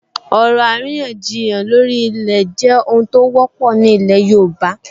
Ọ̀rọ̀ àríyànjiyàn lórí ilẹ̀ jẹ́ ohun tó wọ́pọ̀ ní ilẹ̀ yóòbá